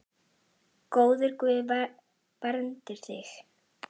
Góður Guð verndi þig.